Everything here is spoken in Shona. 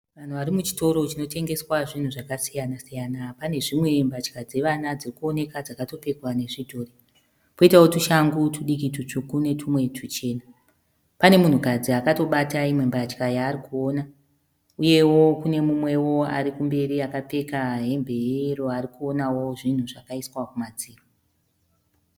Vanhu vari muchitoro chinotengeswa zvakasiyana siyana. Pane zvimwe mbatya dzevana dzirikuoneka dzakatopfekwa nezvidhori. Poitawo tushangu tudiki tutsvuku netumwe tuchena. Pane munhukadzi akatobata imwe mbatya yaari kuona uyewo kune mumwewo arikumberi kapfeka hembe ye yero arikuonawo zvinhu zvakaiswa kumadziro.